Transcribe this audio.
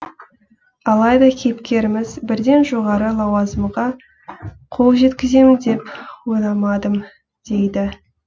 алайда кейіпкеріміз бірден жоғары лауазымға қол жеткіземін деп ойламадым дейді